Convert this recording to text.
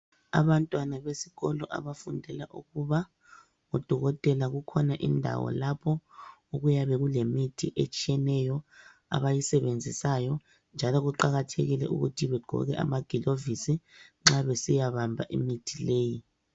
Abantwana besikolo abafundela ukuba ngodokotela kukhona indawo lapho okuyabe kulemithi etshiyeneyo abayisebenzisayo njalo kuqakathekile ukuthi begqoke amagilovisi nxa besiyabamba imithi leyi.